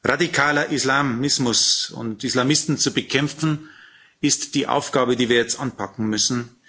Radikaler Islamismus und Islamisten zu bekämpfen, ist die Aufgabe, die wir jetzt anpacken müssen.